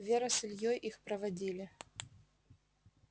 вера с ильёй их проводили